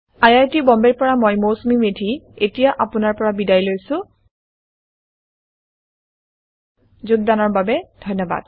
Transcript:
I I T Bombay ৰ পৰা মই মৌচুমী মেধী এতিয়া আপুনাৰ পৰা বিদায় লৈছো যোগদানৰ বাবে ধন্যবাদ